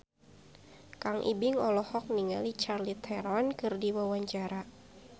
Kang Ibing olohok ningali Charlize Theron keur diwawancara